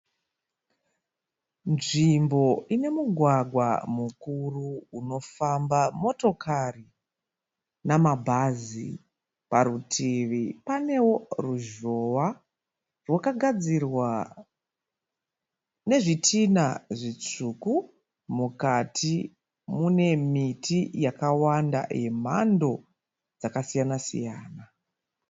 Nzvimbo ine mugwagwa mukuru unofamba motokari namabhazi. Parutivi panewo ruzhowa rwakagadzirwa nezvitina zvitsvuku. Mukati mune miti yakawanda yemhando dzakasiyana siyana.